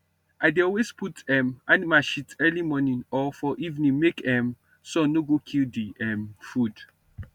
i dey always put um animal shit early morning or for evening make um sun no go kill the um food